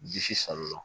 Disi san o